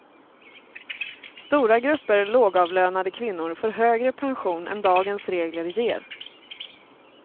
Stora grupper lågavlönade kvinnor får högre pension än dagens regler ger.